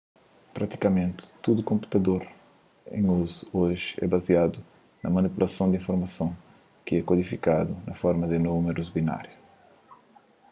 pratikamenti tudu konputador en uzu oji é baziadu na manipulason di informason ki é kodifikadu na forma di númerus binariu